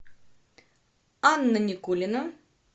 анна никулина